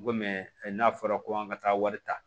N go mɛ n'a fɔra ko an ka taa wari ta